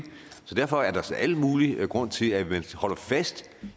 derfor er der al mulig grund til at man holder fast